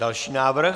Další návrh.